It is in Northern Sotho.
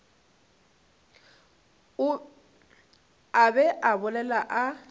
a be a bolela a